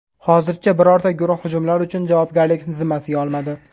Hozircha birorta guruh hujumlar uchun javobgarlikni zimmasiga olmadi.